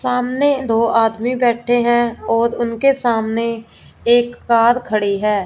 सामने दो आदमी बैठे है और उनके सामने एक कार खड़ी है।